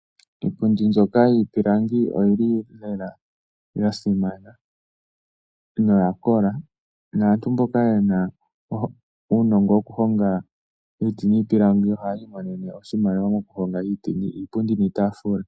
Iipundi mbyoka yiipilangi oyi li lela ya simana noya kola. Aantu mboka ye na uunongo wokuhonga iiti niipilangi ohayi imonene oshimaliwa mokuhonga iipundi niitaafula.